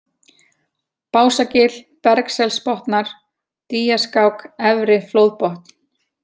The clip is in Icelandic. Básagil, Bjargselsbotnar, Dýjaskák, Efri-Flóðbotn